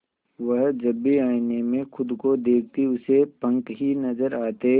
वह जब भी आईने में खुद को देखती उसे पंख ही नजर आते